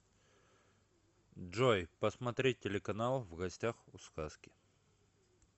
джой посмотреть телеканал в гостях у сказки